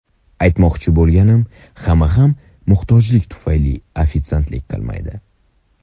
Aytmoqchi bo‘lganim, hamma ham muhtojlik tufayli ofitsiantlik qilmaydi.